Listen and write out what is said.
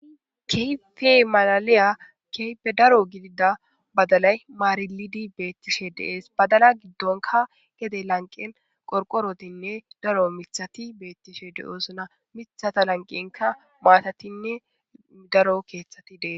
Kehippe maliliya kehippe daro gidida badalayi marilidi bettishshe De'esi.badala giddonkka gede laniqenni qqorqorottinne daro miththatti bettishshe de'ossona miththata lanqennkka matatinne daro keththati detees.